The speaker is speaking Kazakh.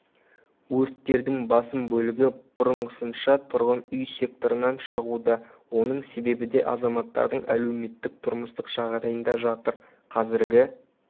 өрттердің басым бөлігі бұрынғысынша тұрғын үй секторынан шығуда оның себебі де азаматтардың әлеуметтік-тұрмыстық жағдайында жатыр қазіргі